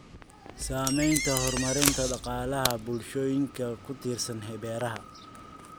Saamaynta horumarinta dhaqaalaha bulshooyinka ku tiirsan beeraha.